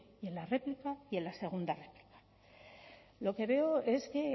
en la réplica y en la segunda réplica lo que veo es que